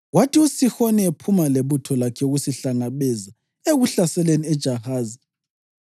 Kwathi uSihoni ephuma lebutho lakhe ukusihlangabeza ekuhlaseleni eJahazi,